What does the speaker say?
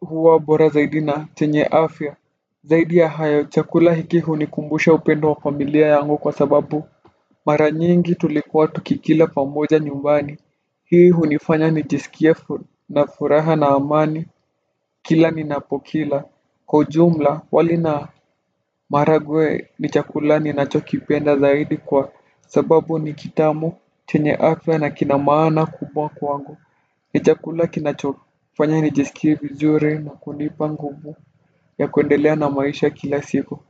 huwa bora zaidi na chenye afya. Zaidi ya hayo chakula hiki hunikumbusha upendo wa familia yangu kwa sababu mara nyingi tulikuwa tukikila pamoja nyumbani. Hii hunifanya nijisikie na furaha na amani kila ninapokila. Kwa ujumla wali na maharagwe ni chakula ninachokipenda zaidi kwa sababu ni kitamu, chenye afya na kina maana kubwa kwangu. Ni chakula kinachofanya nijisikie vizuri na kunipa nguvu ya kuendelea na maisha kila siku.